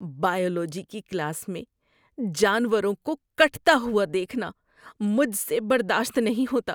Biology کی class میں جانوروں کو کٹتا ہوا دیکھنا مجھ سے برداشت نہیں ہوتا۔